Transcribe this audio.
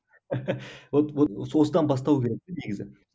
вот вот осыдан бастау керек негізі